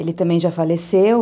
Ele também já faleceu.